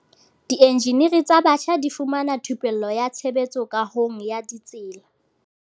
Dienjeniri tsa batjha di fumana thupello ya tshebetso kahong ya ditsela